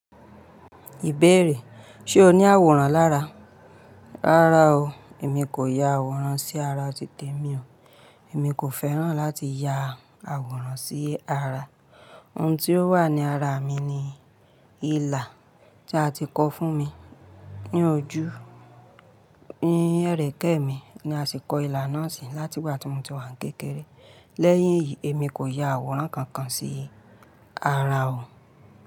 Ìbéèrè: ṣe o ní àwòrán lára? Rárá o. Èmi kò ya àwòrán sí ara titi èmi o. Èmi kò fẹ́ràn láti ya àwòrán sí ara. Ohun tí ó wà ní ara mi ni ilà tí a ti kọ fún mi ní ojú. Ẹ̀rẹ̀kẹ́ mi ni a sì kọ ilà náà sí láti ìgbà tí mo ti wà ni kékeré. Lẹ́yìn èyí, èmi kò ya àwòrán kankan sí ara o.